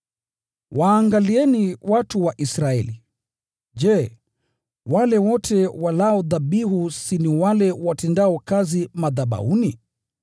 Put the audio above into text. Waangalieni watu wa Israeli: Je, wale wote walao dhabihu si ni wale watendao kazi madhabahuni?